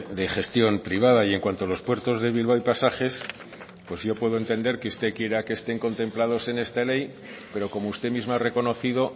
de gestión privada y en cuanto a los puertos de bilbao y pasajes pues yo puedo entender que usted quiera que estén contemplados en esta ley pero como usted misma ha reconocido